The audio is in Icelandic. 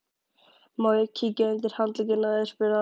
Má ég kíkja undir handlegginn á þér? spurði hann.